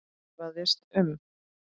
efaðist um